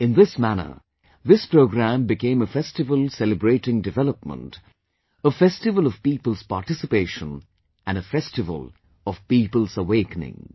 In this manner, this programme became a festival celebrating development, a festival of people's participation and a festival of people's awakening